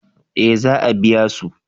eh za a biya su